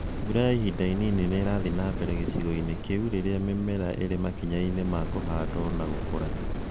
Mbura ya ihinda inini nirathiĩ na mbere gĩcigo-inĩ kĩu rĩrĩa mĩmera ĩrĩ makinya-inĩ ma kũhandwo na gũkũra